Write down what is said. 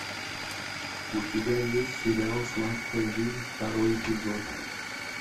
у тебя есть сериал сладкая жизнь второй эпизод